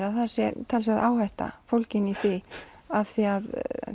að það sé talsverð áhætta fólgin í því af því að